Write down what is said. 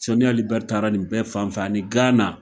Sɔni Ali bɛri taara nin bɛɛ fanfɛ ani Gana.